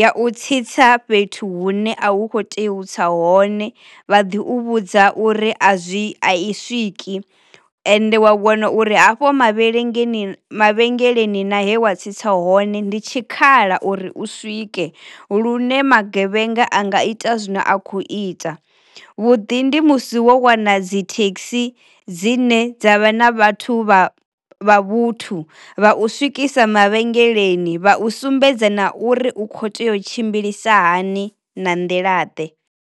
ya u tsitsa fhethu hune a hu kho tea u tsa hone vha ḓi vhudza uri a zwi a i swiki ende wa vhona uri hafho mavhelengeni mavhengeleni na he wa tsitsa hone ndi tshikhala uri u swike lune magevhenga anga ita zwine a khou ita. Vhuḓi ndi musi u wana dzi thekhisi dzine dza vha na vhathu vha vha vhuthu vha u swikisa mavhengeleni, vha u sumbedza na uri u kho tea u tshimbilisa hani na nḓila ḓe.